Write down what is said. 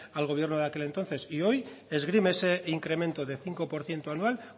al gobierno de aquel entonces y hoy esgrime ese incremento de cinco por ciento anual